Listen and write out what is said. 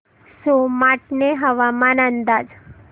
सोमाटणे हवामान अंदाज